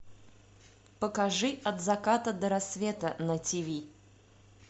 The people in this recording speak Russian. покажи от заката до рассвета на тв